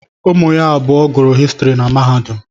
Ụmụ ya abụọ gụrụ Histiri na mahadum.